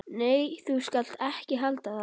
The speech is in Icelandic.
Nei, þú skalt ekki halda það!